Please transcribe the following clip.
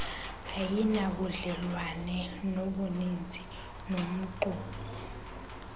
ayinabudlelwane buninzi nomxumi